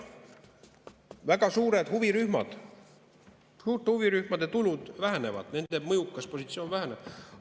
Väga suurte huvirühmade tulud vähenevad, nende mõjukas positsioon väheneb.